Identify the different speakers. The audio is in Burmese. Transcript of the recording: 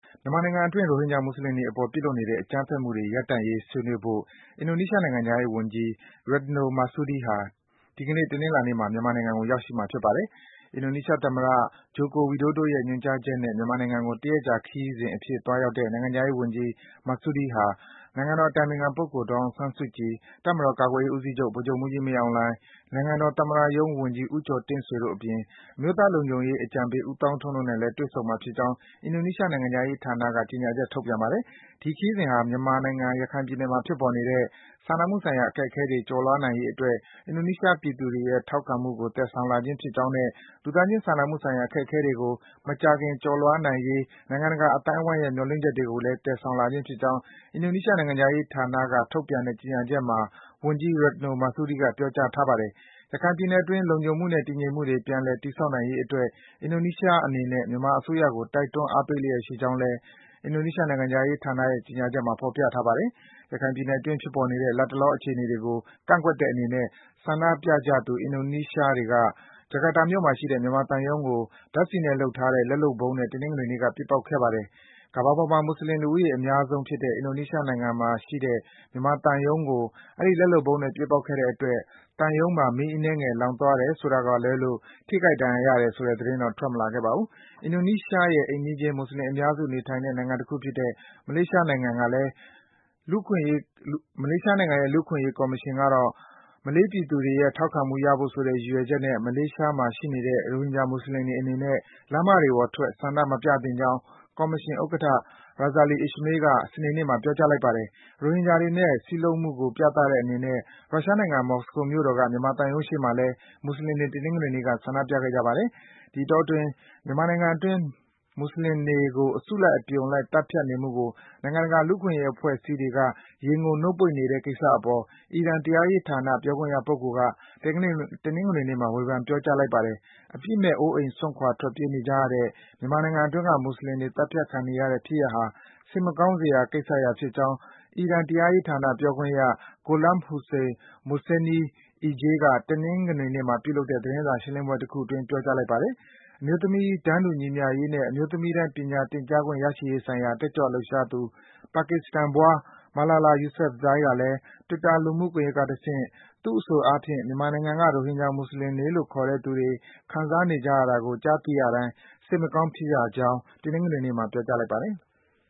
Speaker 1: မြန်မာနိုင်ငံအတွင်း ရိုဟင်ဂျာ မွတ်ဆလင်တွေအပေါ် ပြုလုပ်နေတဲ့ အကြမ်းဖက်မှုတွေ ရပ်တန့်ရေး ဆွေးနွေးဖို့ အင်ဒိုနီးရှား နိုင်ငံခြားရေး ဝန်ကြီး Retno Marsudi ဟာ ဒီကနေ့ တနင်္လာနေ့မှာ မြန်မာနိုင်ငံကို ရောက်ရှိမှာ ဖြစ်ပါတယ်။ အင်ဒိုနီးရှားသမ္မတ Joko Widodo ရဲ့ ညွန်ကြားချက်နဲ့ မြန်မာနိုင်ငံကို တရက်ကြာ ခရီးစဉ်အဖြစ် သွားရောက်တဲ့ နိုင်ငံခြားရေးဝန်ကြီး Marsudi ဟာ နိုင်ငံတော်အတိုင်ပင်ခံပုဂ္ဂိုလ် ဒေါ်အောင်ဆန်စုကြည်၊ တပ်မတော် ကာကွယ်ရေးဦးစီးချုပ် ဗိုလ်ချုပ်မှူးကြီး မင်းအောင်လှိုင်၊ နိုင်ငံတော်သမ္မတရုံးဝန်ကြီး ဦးကျော်တင့်ဆွေတို့အပြင် အမျိုးသားလုံခြုံရေး အကြံပေး ဦးသောင်းထွန်းတို့နဲ့လည်း တွေ့ဆုံမှာဖြစ်ကြောင်း အင်ဒိုနီးရှား နိုင်ငံခြားရေးဌာနက ကြေညာချက် ထုတ်ပြန်ပါတယ်။ ဒီခရီးစဉ်ဟာ မြန်မာနိုင်ငံ၊ ရခိုင်ပြည်နယ်မှာ ဖြစ်ပေါ်နေတဲ့ စာနာမှုဆိုင်ရာ အခက်အခဲတွေ ကျော်လွားနိုင်ရေးအတွက် အင်ဒိုနီးရှား ပြည်သူတွေရဲ့ ထောက်ခံမှုကို သယ်ဆောင်လာခြင်းဖြစ်ကြောင်းနဲ့ လူသားချင်းစာနာမှုဆိုင်ရာ အခက်အခဲတွေကို မကြာခင် ကျော်လွားနိုင်ရေး နိုင်ငံတကာ အသိုင်းဝိုင်းရဲ့ မျှော်လင့်ချက်တွေကိုလည်း သယ်ဆောင်လာခြင်း ဖြစ်ကြောင်း အင်ဒိုနီးရှား နိုင်ငံခြားရေးဌာနက ထုတ်ပြန်တဲ့ ကြေညာချက်မှာ ဝန်ကြီး Retno Marsudi က ပြောကြားထားပါတယ်။ ရခိုင်ပြည်နယ်အတွင်း လုံခြုံမှုနဲ့ တည်ငြိမ်မှုတွေ ပြန်လည် တည်ဆောက်နိုင်ရေးအတွက် အင်ဒိုနီးရှားအနေနဲ့ မြန်မာအစိုးရကို တိုက်တွန်း အားပေးလျှက်ရှိကြောင်းလည်း အင်ဒိုနီးရှားနိုင်ငံခြားရေးဌာနရဲ့ ကြေညာချက်မှာ ဖော်ပြထားပါတယ်။ ရခိုင်ပြည်နယ်အတွင်း ဖြစ်ပေါ်နေတဲ့ လတ်တလော အခြေအနေတွေကို ကန့်ကွက်တဲ့အနေနဲ့ ဆန္ဒပြကြသူ အင်ဒိုနီးရှားတွေက ဂျကာတာမြို့မှာရှိတဲ့ မြန်မာသံရုံးကို ဓါတ်ဆီနဲ့လုပ်ထားတဲ့ လက်လုပ်ဗုံးနဲ့ တနင်္ဂနွေနေ့က ပစ်ပေါက်ခဲ့ပါတယ်။ ကမ္ဘာပေါ်မှာ မွတ်ဆလင် လူဦးရေအများဆုံးဖြစ်တဲ့ အင်ဒိုနီးရှား နိုင်ငံမှာရှိတဲ့ မြန်မာသံရုံးကို အဲဒီ လက်လုပ်ဗုံးနဲ့ ပစ်ပေါက်ခဲ့တဲ့အတွက် သံရုံးမှာ မီးအနည်းငယ် လောင်သွားတယ် ဆိုတာကလွဲလို့ ထိခိုက် ဒဏ်ရာရတဲ့သတင်းတော့ ထွက်မလာခဲ့ပါဘူး။ အင်ဒိုနီးရှာရဲ့ အိမ်နီးချင်း မွတ်ဆလင်အများစု နေထိုင်တဲ့နိုင်ငံတခုဖြစ်တဲ့ မလေးရှားနိုင်ငံက လူ့အခွင့်အရေး ကော်မရှင်ကတော့ မလေးပြည်သူတွေရဲ့ ထောက်ခံမှုရဖို့ဆိုတဲ့ ရည်ရွယ်ချက်နဲ့ မလေးရှားမှာ ရှိနေတဲ့ ရိုဟင်ဂျာ မွတ်ဆလင်တွေအနေနဲ့ လမ်းမတွေပေါ်ထွက် ဆန္ဒမပြသင့်ကြောင်း ကော်မရှင်ဥက္ကဋ္ဌ Razali Ismail က စနေနေ့မှာ ပြောကြားလိုက်ပါတယ်။ ရိုဟင်ဂျာတွေနဲ့ စည်းလုံးမှုကို ပြတဲ့ အနေနဲ့ ရုရှားနိုင်ငံ မော်စကိုမြို့တော်က မြန်မာသံရုံးရှေ့မှာလည်း မွတ်ဆလင်တွေ တနင်္ဂနွေနေ့က ဆန္ဒပြခဲ့ကြပါတယ်။ ဒီတောအတွင်း မြန်မာနိုင်ငံအတွင်းက မွတ်ဆလင်တွေကို အစုလိုက် အပြုံလိုက် သတ်ဖြတ်နေမှုကို နိုင်ငံတကာ လူ့အခွင့်အရေး အဖွဲ့အစည်းတွေက ရေငုံ နှုတ်ပိတ်နေတဲ့ကိစ္စအပေါ် အီရန် တရားရေးဌာန ပြောခွင့်ရပုဂ္ဂိုလ်က တနင်္ဂနွေနေ့မှာ ဝေဖန် ပြောကြားလိုက်ပါတယ်။ အပြစ်မဲ့၊ အိုးအိမ်စွန့်ခွာ ထွက်ပြေးနေကြရတဲ့ မြန်မာနိုင်ငံအတွင်းက မွတ်ဆလင်တွေ သတ်ဖြတ်ခံနေရတဲ့ဖြစ်ရပ်ဟာ စိတ်မကောင်းစရာ ကိစ္စရပ်ဖြစ်ကြောင်း အီရန် တရားရေးဌာန ပြောခွင့်ရ Gholam-Hossein Mohseni Ejei က တနင်္ဂနွေနေ့မှာ ပြုလုပ်တဲ့ သတင်းစာ ရှင်းလင်းပွဲတခုအတွင်း ပြောကြားလိုက်ပါတယ်။ အမျိုးသမီးတန်းတူညီမျှရေးနဲ့ အမျိုးသမီးတိုင်း ပညာသင်ကြားခွင့် ရရှိရေးဆိုင်ရာ တက်ကြွလှုပ်ရှားသူ ပါကစ္စတန်ဖွား Malala Yousefzai ကလည်း Twitter လူမှုကွန်ယက်ကတဆင့် သူ့အဆိုအားဖြင့် မြန်မာနိုင်ငံက ရိုဟင်ဂျာ မွတ်ဆလင်လို့ ခေါ်တဲ့ သူတွေ ခံစားနေရတာကို ကြားသိရတိုင်း စိတ်မကောင်းဖြစ်ရကြောင်း တနင်္ဂနွေနေ့မှာ ပြောကြားလိုက်ပါတယ်။